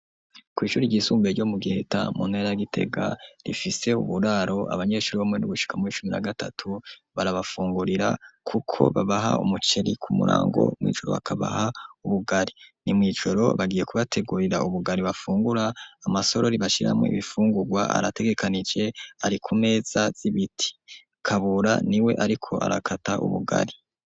kw'ishure ryisumbuye ryo mu giheta mu ntara ya Gitega rifise uburaro abanyeshure bo mu w'indwi gushika muw'icumi na gatatu, barabafungurira kuko babaha umuceri ku murango mw'ijoro bakabaha ubugari , ni mw'ijoro bagiye kubategurira ubugari bafungura ,amasorori bashiramo ibifungurwa arategekanije ari ku meza z'ibiti, kabura ni we ariko arakata ubugari.